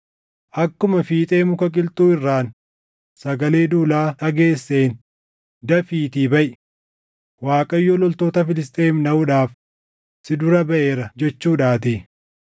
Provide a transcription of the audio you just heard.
Akkuma fiixee muka qilxuu irraan sagalee duulaa dhageesseen dafiitii baʼi; Waaqayyo loltoota Filisxeem dhaʼuudhaaf si dura baʼeera jechuudhaatii.”